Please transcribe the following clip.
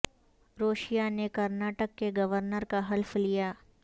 ر و شیا نے کر نا ٹک کے گو ر نر کا حلف لیا